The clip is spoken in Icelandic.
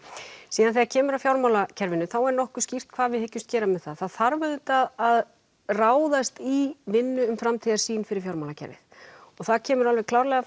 síðan þegar kemur að fjármálakerfinu er nokkuð skýrt hvað við hyggjumst gera með það það þarf auðvitað að ráðast í vinnu um framtíðarsýn fyrir fjármálakerfið og það kemur alveg klárlega